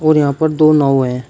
और यहां पर दो नाव है।